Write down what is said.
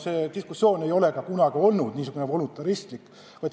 Meie diskussioon ei ole kunagi olnud niisugune voluntaristlik.